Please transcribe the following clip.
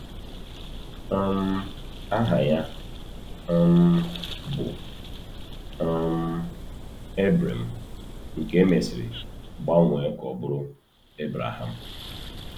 um Aha ya um bụ um Ebrem, nke e mesịrị gbanwee ka ọ bụrụ Ebreham.